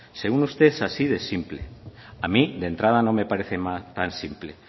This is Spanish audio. según usted es así de simple a mí de entrada no me parece tan simple